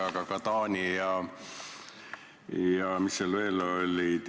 Aga Taani ja – mis seal veel olid?